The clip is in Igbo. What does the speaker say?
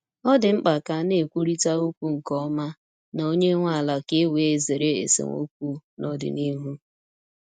Ọ dị mkpa ka a na-ekwurịta okwu nke ọma na onye nwe ala ka e wee zere esemokwu n’ọdịnihu.